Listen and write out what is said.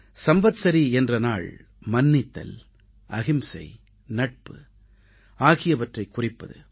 சம்வத்ஸரீ என்ற நாள் மன்னித்தல் அகிம்சை நட்பு ஆகியவற்றைக் குறிப்பது